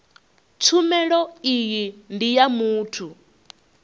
tshumelo iyi ndi ya muthu